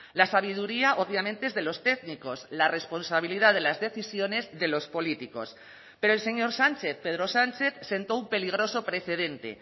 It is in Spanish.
la sabiduría obviamente es de los técnicos la responsabilidad de las decisiones de los políticos pero el señor sánchez pedro sánchez sentó un peligroso precedente